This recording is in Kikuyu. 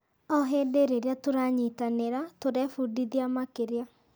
O hĩndĩ rĩrĩa tũranyitanĩra, tũrebundithia makĩria.